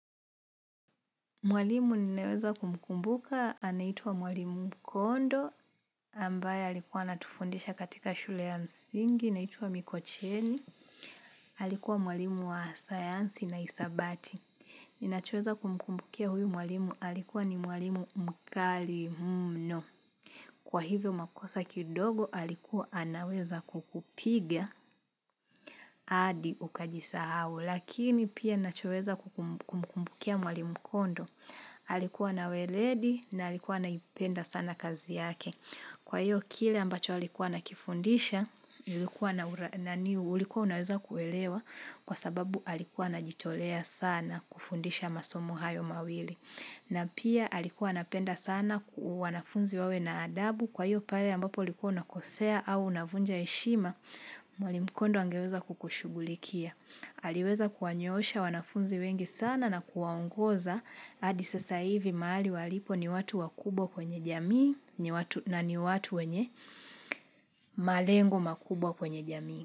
Mwalimu ninayeweza kumkumbuka anaitwa mwalimu kondo, ambaye alikuwa anatufundisha katika shule ya msingi, inaitwa mikocheni, alikuwa mwalimu wa sayansi na hisabati. Ninachoweza kumkumbukia huyu mwalimu alikuwa ni mwalimu mkali mno. Kwa hivyo makosa kidogo alikuwa anaweza kukupiga hadi ukajisahau, lakini pia nachoweza kumkumbukia mwalimu kondo. Alikuwa na weledi na alikuwa anaipenda sana kazi yake. Kwa hiyo kile ambacho alikuwa nakifundisha, ulikuwa unaweza kuelewa kwa sababu alikuwa anajitolea sana kufundisha masomo hayo mawili. Na pia alikuwa anapenda sana wanafunzi wawe na adabu kwa hiyo pale ambapo ulikuwa unakosea au unavunja heshima mwalimu mkondo angeweza kukushugulikia. Aliweza kuwanyoosha wanafunzi wengi sana na kuwaongoza hadi sasa hivi mahali walipo ni watu wakubwa kwenye jamii na ni watu wenye malengo makubwa kwenye jamii.